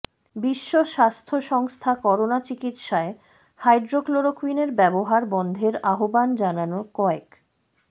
বিশ্ব স্বাস্থ্য সংস্থা করোনা চিকিৎসায় হাইড্রোক্সিক্লোরোকুইনের ব্যবহার বন্ধের আহ্বান জানানোর কয়েক